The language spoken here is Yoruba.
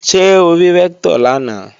Ṣé o rí Rẹ́ktọ̀ lánàá?